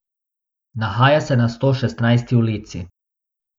Nahaja se na Stošestnajsti ulici.